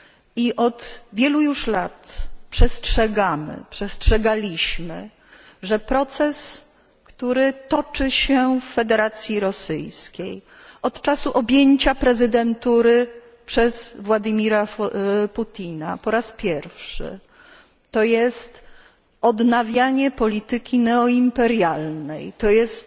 I od wielu już lat przestrzegamy, przestrzegaliśmy, że proces, który toczy się w Federacji Rosyjskiej, od czasu objęcia prezydentury przez Władimira Putina po raz pierwszy to jest odnawianie polityki neoimperialnej, to jest